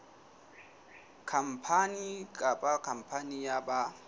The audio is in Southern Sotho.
khampani kapa khampani ya ba